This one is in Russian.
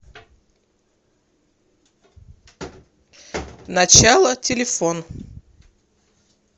начало телефон